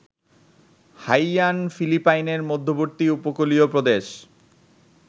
Haiyan ফিলিপাইনের মধ্যবর্তী উপকূলীয় প্রদেশ